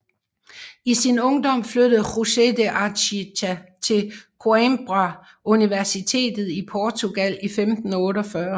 I sin ungdom flyttede José de Anchieta til Coimbra Universitet i Portugal i 1548